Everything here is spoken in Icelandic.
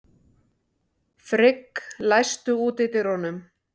Frigg, læstu útidyrunum.